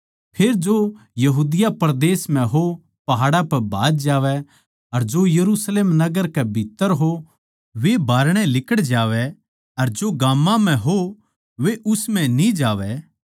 फेर जो यहूदिया परदेस म्ह हों पहाड़ां पै भाज जावैं अर जो यरुशलेम नगर कै भीत्त्तर हों वे बाहरणै लिकड़ जावैं अर जो गाम्मां म्ह हों वे उस म्ह न्ही जावैं